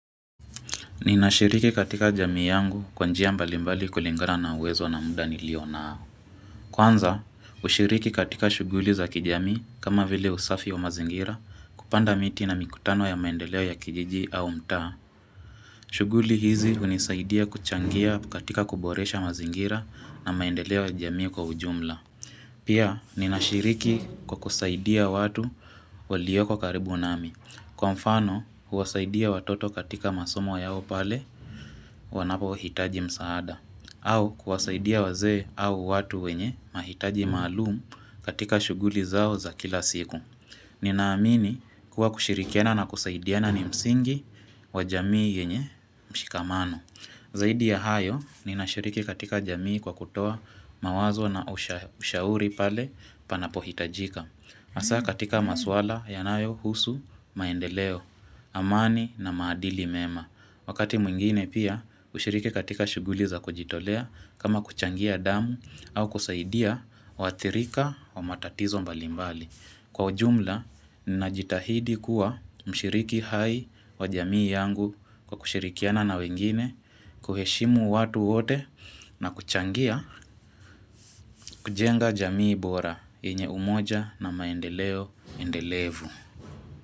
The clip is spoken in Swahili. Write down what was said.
Ninashiriki katika jamii yangu kwa njia mbali mbali kulingana na uwezo na muda nilio nao. Kwanza, ushiriki katika shughuli za kijamii kama vile usafi wa mazingira kupanda miti na mikutano ya maendeleo ya kijiji au mtaa. Shughuli hizi hunisaidia kuchangia katika kuboresha mazingira na maendeleo ya jamii kwa ujumla. Pia, ninashiriki kwa kusaidia watu walioko karibu nami. Kwa mfano huwasaidia watoto katika masomo yao pale wanapohitaji msaada au kuwasaidia wazee au watu wenye mahitaji malumu katika shughuli zao za kila siku Ninaamini kuwa kushirikiana na kusaidiana ni msingi wa jamii yenye mshikamano Zaidi ya hayo ninashiriki katika jamii kwa kutoa mawazo na ushauri pale panapohitajika Hasaa katika maswala yanayohusu, maendeleo, amani na maadili mema. Wakati mwingine pia, kushiriki katika shughuli za kujitolea kama kuchangia damu au kusaidia waathirika wa matatizo mbalimbali. Kwa jumla, ninajitahidi kuwa mshiriki hai wa jamii yangu kwa kushirikiana na wengine, kuheshimu watu wote na kuchangia kujenga jamii bora yenye umoja na maendeleo endelevu.